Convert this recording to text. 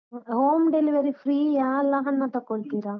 Home delivery free ಯಾ ಅಲ್ಲ ಹಣ ತಕೊಳ್ತೀರಾ?